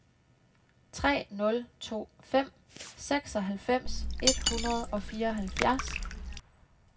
tre nul to fem seksoghalvfems et hundrede og fireoghalvfjerds